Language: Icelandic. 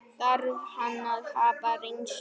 Þarf hann að hafa reynslu?